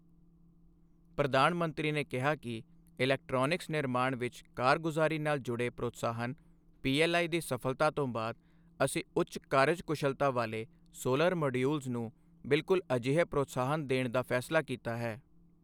ਪ੍ਰਧਾਨ ਮੰਤਰੀ ਨੇ ਕਿਹਾ ਕਿ ਇਲੈਕਟ੍ਰੌਨਿਕਸ ਨਿਰਮਾਣ ਵਿੱਚ ਕਾਰਗੁਜ਼ਾਰੀ ਨਾਲ ਜੁੜੇ ਪ੍ਰੋਤਸਾਹਨ ਪੀਐੱਲਆਈ ਦੀ ਸਫ਼ਲਤਾ ਤੋਂ ਬਾਅਦ, ਅਸੀਂ ਉੱਚ ਕਾਰਜਕੁਸ਼ਲਤਾ ਵਾਲੇ ਸੋਲਰ ਮੌਡਿਊਲਜ਼ ਨੂੰ ਬਿਲਕੁਲ ਅਜਿਹੇ ਪ੍ਰੋਤਸਾਹਨ ਦੇਣ ਦਾ ਫ਼ੈਸਲਾ ਕੀਤਾ ਹੈ।